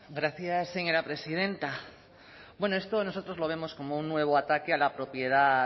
gracias señora presidenta bueno esto nosotros lo vemos como un nuevo ataque a la propiedad